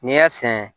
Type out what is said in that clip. N'i y'a sɛnɛ